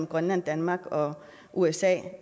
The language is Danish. grønland danmark og usa